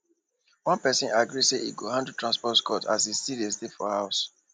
one person agree say e go handle transport cost as e still dey stay for house